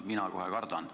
Mina kohe kardan.